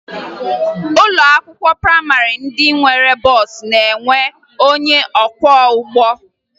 Ụlọ akwụkwọ prayịmarị ndị nwere bọọsụ na-enwe onye ọkwọụgbọ